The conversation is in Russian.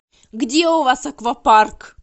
где у вас аквапарк